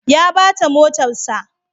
Ya bata motarsa.